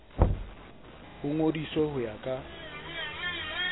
o ngodiswe ho ya ka